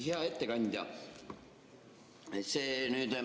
Hea ettekandja!